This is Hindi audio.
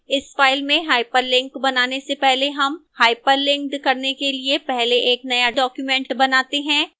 इस file में hyperlink बनाने से पहले हम hyperlinked करने के लिए पहले एक नया document बनाते हैं